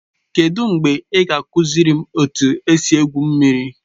Kedụ mgbe ị ga-akụziri m etu esi egwu mmiri?